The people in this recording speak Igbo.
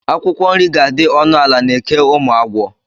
Akwụkwọ nri ga-adị ọnụ ala na Eke Ụmụagwọ.